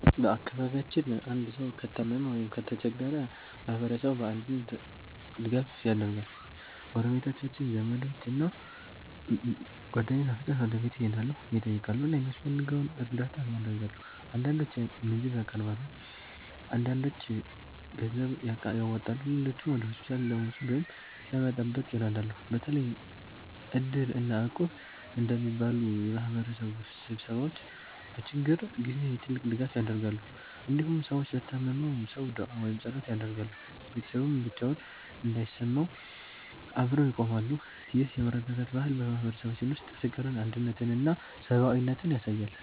በአካባቢያችን አንድ ሰው ከታመመ ወይም ከተቸገረ ማህበረሰቡ በአንድነት ድጋፍ ያደርጋል። ጎረቤቶች፣ ዘመዶች እና ጓደኞች በፍጥነት ወደ ቤቱ ይሄዳሉ፣ ይጠይቃሉ እና የሚያስፈልገውን እርዳታ ያደርጋሉ። አንዳንዶች ምግብ ያቀርባሉ፣ አንዳንዶች ገንዘብ ያዋጣሉ፣ ሌሎችም ወደ ሆስፒታል ለመውሰድ ወይም ለመጠበቅ ይረዳሉ። በተለይ Iddir እና Equb እንደሚባሉ የማህበረሰብ ስብስቦች በችግር ጊዜ ትልቅ ድጋፍ ያደርጋሉ። እንዲሁም ሰዎች ለታመመው ሰው ዱዓ ወይም ጸሎት ያደርጋሉ፣ ቤተሰቡም ብቻውን እንዳይሰማው አብረው ይቆማሉ። ይህ የመረዳዳት ባህል በማህበረሰባችን ውስጥ ፍቅርን፣ አንድነትን እና ሰብአዊነትን ያሳያል።